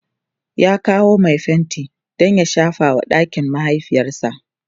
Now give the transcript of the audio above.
ya kawo Mai fenti Dan ya shafa wa ɗakin mahaifiyarsa